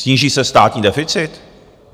Sníží se státní deficit?